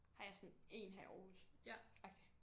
Har jeg sådan én her i Aarhus agtig